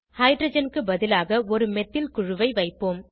hydrogen க்கு பதிலாக ஒருமெத்தில் குழுவை வைப்போம்